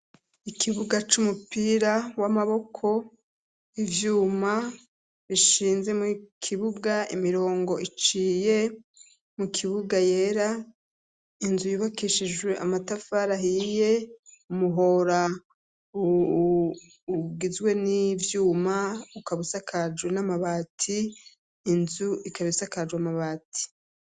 ikibuga c'umupira w'amaboko ivyuma bishinze mu kibuga imirongo iciye mu kibuga yera inzu yubakishijwe amatafari ahiye umuhora ugizwe n'ivyuma ukabusakajwe n'amabati inzu ikabisakajwe amabati